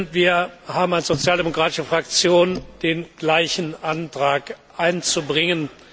Wir haben als sozialdemokratische Fraktion den gleichen Antrag einzubringen.